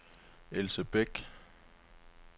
Else Bæk